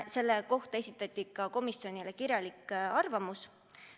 Selle kohta esitati komisjonile ka kirjalik arvamus.